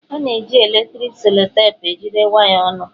A na-eji eletriki selotepụ ejigide waya ọnụ